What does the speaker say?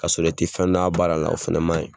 K'a sɔrɔr e tɛ fɛn dɔn a baara la , o kɔni fana ma ɲin.